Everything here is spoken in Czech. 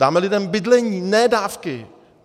Dáme lidem bydlení, ne dávky.